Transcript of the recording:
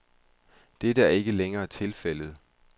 Dette er ikke længere tilfældet.